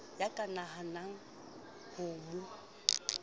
ya ka nahanang ho mo